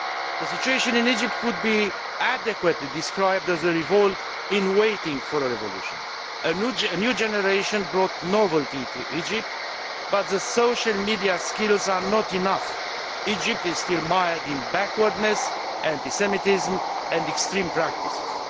The situation in Egypt could be adequately described as a revolt in waiting for a revolution. A new generation has brought novelty to Egypt, but social media skills are not enough. Egypt is still mired in backwardness, anti Semitism and extreme practices.